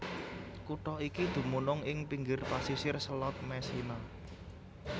Kutha iki dumunung ing pinggir pasisir Selat Messina